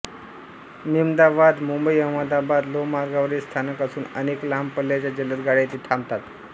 मेमदावाद मुंबईअहमदाबाद लोहमार्गावरील स्थानक असून अनेक लांब पल्ल्याच्या जलद गाड्या येथे थांबतात